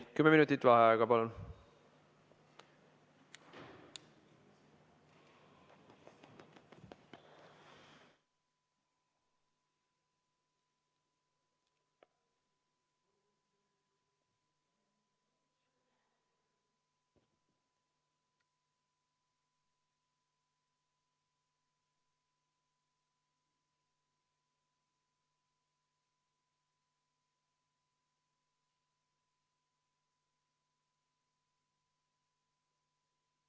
Kümme minutit vaheaega, palun!